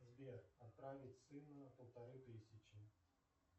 сбер отправить сыну полторы тысячи